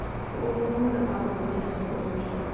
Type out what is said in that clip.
Oğlunun da adını da cəsur qoymuşdu.